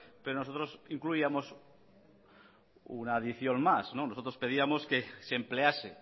pero nosotros incluíamos una adición más nosotros pedíamos que se emplease